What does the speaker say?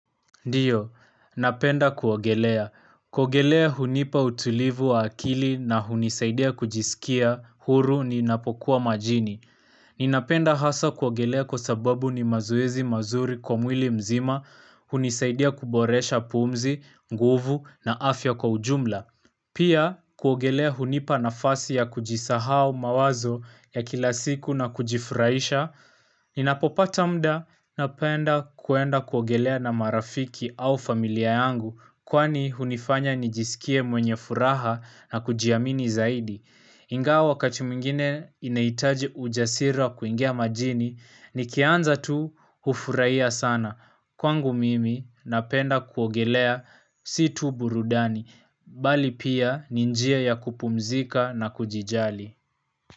Ndio, napenda kuogelea. Kuogelea hunipa utulivu wa akili na hunisaidia kujisikia huru ninapokuwa majini. Ninapenda hasa kuogelea kwa sababu ni mazoezi mazuri kwa mwili mzima, hunisaidia kuboresha pumzi, nguvu na afya kwa ujumla. Pia kuogelea hunipa nafasi ya kujisahau, mawazo ya kila siku na kujifurahisha, ninapopata muda napenda kuenda kuogelea na marafiki au familia yangu kwani hunifanya nijisikie mwenye furaha na kujiamini zaidi. Ingawa wakati mwingine inahitaji ujasira kuingia majini nikianza tu hufurahia sana kwangu mimi napenda kuogelea si tu burudani bali pia ni njia ya kupumzika na kujijali.